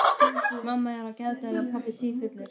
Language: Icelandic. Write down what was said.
Mamma er á geðdeild og pabbi sífullur.